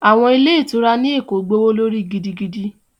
Àwọn ilé ìtura ní Èkó gbówó lórí gidigidi